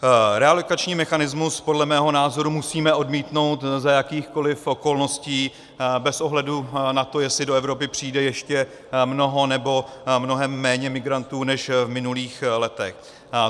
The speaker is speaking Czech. Relokační mechanismus podle mého názoru musíme odmítnout za jakýchkoli okolností bez ohledu na to, jestli do Evropy přijde ještě mnoho, nebo mnohem méně migrantů než v minulých letech.